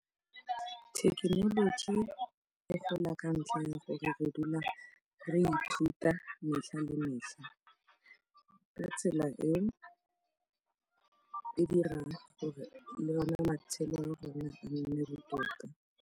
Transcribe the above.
Thekenoloji e gola ka ntlha ya gore re dula re ithuta metlha le metlha ka tsela e e dirang gore le ona matshelo a rona a nne botoka.